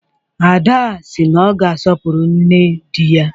Ada sị na ọ ga-asọpụrụ nne di ya